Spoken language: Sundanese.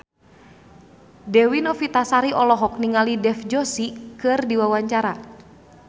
Dewi Novitasari olohok ningali Dev Joshi keur diwawancara